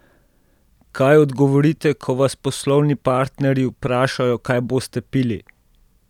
Kaj odgovorite, ko vas poslovni partnerji vprašajo, kaj boste pili?